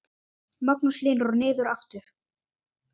Magnús Hlynur: Og niður aftur?